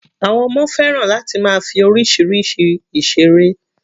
Àwọn ọmọ fẹ́ràn láti máa fi oríṣiríṣi ìseré.